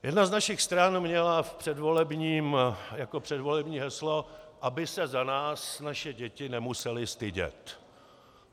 Jedna z našich stran měla jako předvolební heslo, aby se za nás naše děti nemusely stydět.